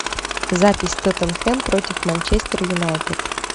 запись тоттенхэм против манчестер юнайтед